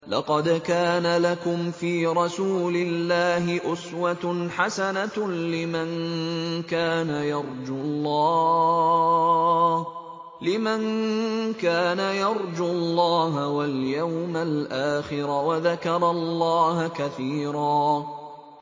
لَّقَدْ كَانَ لَكُمْ فِي رَسُولِ اللَّهِ أُسْوَةٌ حَسَنَةٌ لِّمَن كَانَ يَرْجُو اللَّهَ وَالْيَوْمَ الْآخِرَ وَذَكَرَ اللَّهَ كَثِيرًا